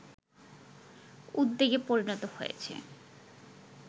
উদ্বেগে পরিণত হয়েছে